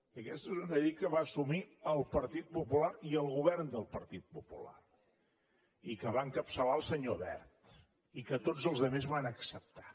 i aquesta és una llei que va assumir el partit popular i el govern del partit popular i que va encapçalar el senyor wert i que tots els altres van acceptar